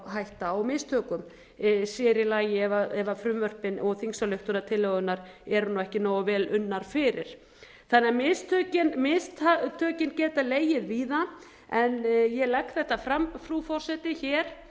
hætta á mistökum sér í lagi ef frumvörpin og þingsályktunartillögurnar eru nú ekki nógu vel unnar fyrir þannig að mistökin geta legið víða ég legg þetta fram frú forseti hér